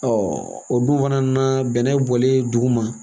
o dun fana na bɛnɛ bɔlen duguma